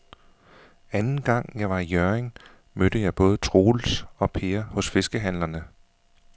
Anden gang jeg var i Hjørring, mødte jeg både Troels og Per hos fiskehandlerne.